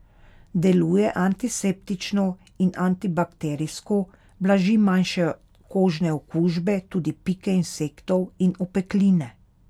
Deluje antiseptično in antibakterijsko, blaži manjše kožne okužbe, tudi pike insektov in opekline.